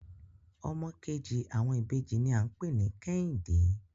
Ọmọ kejì àwọn ìbejì ní à ń pè ní Kẹ́hìndẹ́